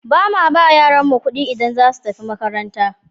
Ba ma ba yaranmu ƙuɗi idan za su tafi makaranta.